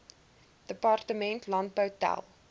departement landbou tel